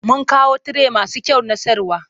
Mun kawo tire masu kyau na sayarwa.